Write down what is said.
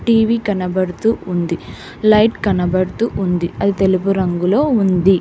TV కనబడుతూ ఉంది light కనబడుతూ ఉంది అది తెలుగు రంగులో ఉంది